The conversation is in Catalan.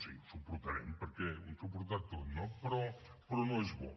sí ho suportarem perquè hem suportat tot no però no és bo